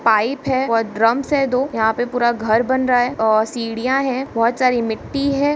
Pipe है और drums है दो यहाँ पे पूरा घर बन रहा है और सीढ़ियाँ है बोहत बहु सारी मिट्टी है।